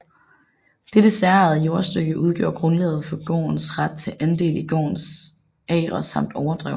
Dette særejede jordstykke udgjorde grundlaget for gårdens ret til andel i gårdens agre samt overdrev